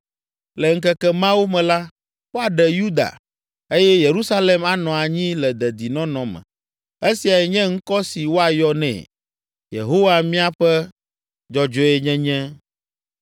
Le ŋkeke mawo me la, woaɖe Yuda, eye Yerusalem anɔ anyi le dedinɔnɔ me. Esiae nye ŋkɔ si woayɔ nɛ, ‘Yehowa Míaƒe Dzɔdzɔenyenye?’